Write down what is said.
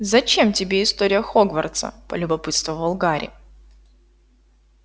зачем тебе история хогвартса полюбопытствовал гарри